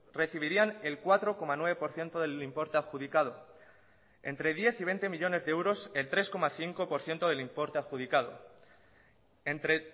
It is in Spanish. recibirían el cuatro coma nueve por ciento del importe adjudicado entre diez y veinte millónes de euros el tres coma cinco por ciento del importe adjudicado entre